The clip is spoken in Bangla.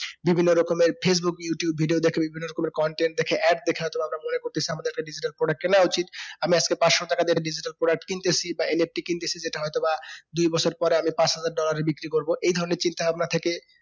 বিভিন্ন রকমের facebook, youtube video দেখে বিভিন্ন রকমের content দেখে add দেখে হয় তো বা আমরা মনে করতেছি আমাদের একটা digital product কেনা উচিত আমি আজকে পাঁচশো টাকা যেটা দিয়ে একটা digital product কিনতেছি বা NFT কিনতেছি যেটা হয়তো বা দুই বছর পরে আমি পাঁচ হাজার dollar এ বিক্রি করবো এই ধরণের চিন্তা ভাবনা থেকে